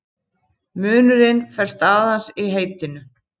Munurinn felst aðeins í heitinu.